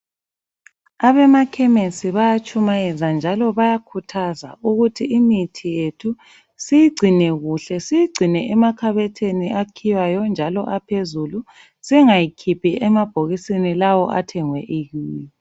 Abamakhemisi bayatshumayeza njalo bayakhuthaza ukuthi imithi yethu siyigcine kuhle, siyigcine emakhabothini akhiywayo njalo aphezulu. Singayikhiphi emabhokisini lawo athengwe ekiyo